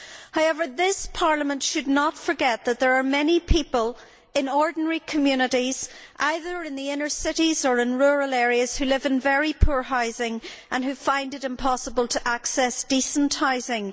However, this Parliament should not forget that there are many people in ordinary communities, either in the inner cities or in rural areas, who live in very poor housing and who find it impossible to access decent housing.